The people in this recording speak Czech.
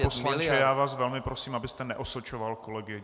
Pane poslanče, já vás velmi prosím, abyste neosočoval kolegy.